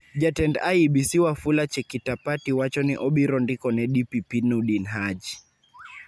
Jatend IEBC Wafula Chekitapati wacho ni obiro ndiko ne DPP Nordin Haji